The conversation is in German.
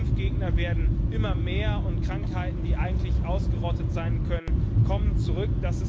Die Impfgegner werden immer mehr, und Krankheiten, die eigentlich ausgerottet sein könnten, kommen zurück.